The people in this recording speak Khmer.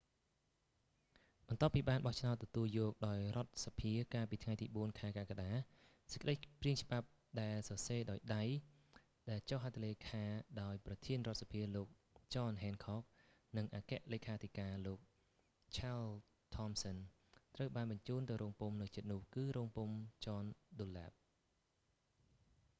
បន្ទាប់ពីបានបោះឆ្នោតទទួលយកដោយរដ្ឋសភាកាលពីថ្ងៃទី 4ខែកក្កដា សេចក្តីព្រាងច្បាប់ដែលសរសេរដោយដៃដែលចុះហត្ថលេខាដោយប្រធានរដ្ឋសភាលោក ចន ហ៊ែនខក់ john hancock និងអគ្គលេខាធិការលោក ឆាល ថមសឹន charles thomson ត្រូវបានបញ្ជូនទៅរោងពុម្ពនៅជិតនោះគឺរោងពុម្ព ចន ឌុនលែប john dunlap